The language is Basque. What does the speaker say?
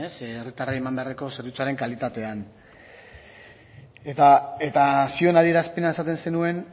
ze herritarrei eman beharreko zerbitzuaren kalitatean eta zioen adierazpena esaten zenuen